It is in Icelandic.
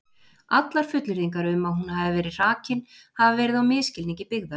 Allar fullyrðingar um að hún hafi verið hrakin hafa verið á misskilningi byggðar.